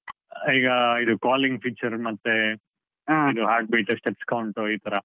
ಆ ಈಗ ಇದು calling feature ಮತ್ತೇ. heart beat steps count ಈತರ.